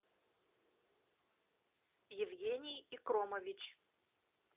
евгений икромович